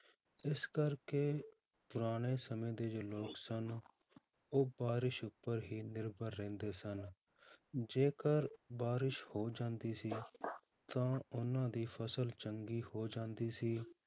ਇਸ ਕਰਕੇ ਪੁਰਾਣੇ ਸਮੇਂ ਦੇ ਜੋ ਲੋਕ ਸਨ ਉਹ ਬਾਰਿਸ਼ ਉੱਪਰ ਹੀ ਨਿਰਭਰ ਰਹਿੰਦੇ ਸਨ, ਜੇਕਰ ਬਾਰਿਸ਼ ਹੋ ਜਾਂਦੀ ਸੀ ਤਾਂ ਉਹਨਾਂ ਦੀ ਫਸਲ ਚੰਗੀ ਹੋ ਜਾਂਦੀ ਸੀ